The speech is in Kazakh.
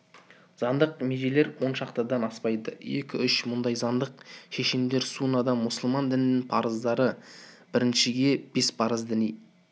заңдық межелер он шақтыдан аспайды екі-үш мыңдай заңдық шешімдер суннада мұсылман дінінің парыздары біріншіге бес парыз діни